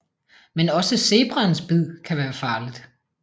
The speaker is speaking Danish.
Men også zebraens bid kan være farligt